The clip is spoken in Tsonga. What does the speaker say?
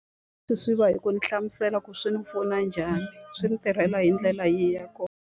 Swi swi va hi ku ndzi hlamusela ku swi ni pfuna njhani, swi ni tirhela hi ndlela yihi ya kona.